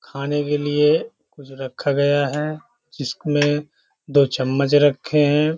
खाने के लिये कुछ रखा गया है। जिसमे दो चम्मच रखे हैं।